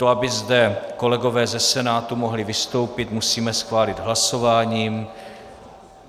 To, aby zde kolegové ze Senátu mohli vystoupit, musíme schválit hlasováním.